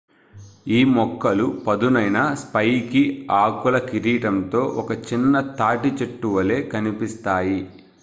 ఈ మొక్కలు పదునైన స్పైకీ ఆకుల కిరీటంతో ఒక చిన్న తాటి చెట్టు వలె కనిపిస్తాయి